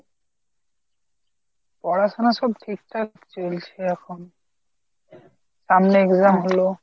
পড়াশুনা সব ঠিকঠাক চলছে এখন, সামনে exam হলো।